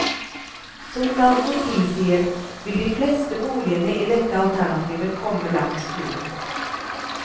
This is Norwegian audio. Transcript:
Som navnet tilsier, vil de fleste boligene i dette alternativet komme langs fjorden.